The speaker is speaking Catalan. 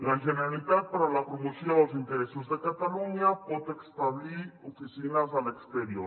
la generalitat per a la promoció dels interessos de catalunya pot establir oficines a l’exterior